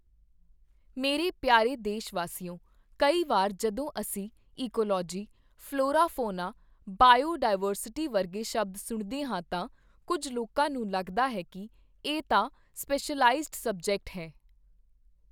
ਮੇਰੇ ਪਿਆਰੇ ਦੇਸ਼ਵਾਸੀਓ, ਕਈ ਵਾਰ ਜਦੋਂ ਅਸੀਂ ecology, flora, fauna, biodiversity ਵਰਗੇ ਸ਼ਬਦ ਸੁਣਦੇ ਹਾਂ ਤਾਂ, ਕੁੱਝ ਲੋਕਾਂ ਨੂੰ ਲੱਗਦਾ ਹੈ ਕਿ ਇਹ ਤਾਂ ਸਪੈਸ਼ਲਾਈਜ਼ਡ ਸਬਜੈਕਟ ਹੈ।